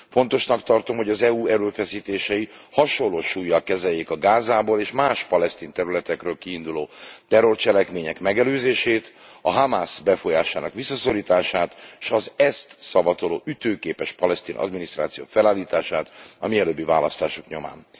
Fontosnak tartom, hogy az EU erőfeszítései hasonló súllyal kezeljék a Gázából és más palesztin területekről kiinduló terrorcselekmények megelőzését, a Hamasz befolyásának visszaszorítását s az ezt szavatoló ütőképes palesztin adminisztráció felállítását a mielőbbi választások nyomán.